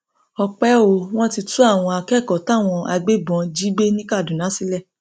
ọpẹ o wọn ti tú àwọn akẹkọọ táwọn agbébọn jí gbé ní kaduna sílẹ